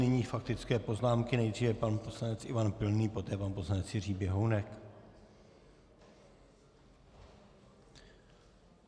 Nyní faktické poznámky, nejdříve pan poslanec Ivan Pilný, poté pan poslanec Jiří Běhounek.